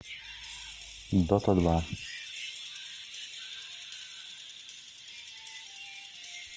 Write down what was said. дота два